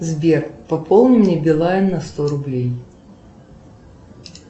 сбер пополни мне билайн на сто рублей